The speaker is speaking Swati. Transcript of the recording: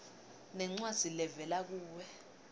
nencwadzi levela kuwe